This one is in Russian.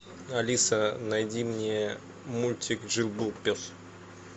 алиса найди мне мультик жил был пес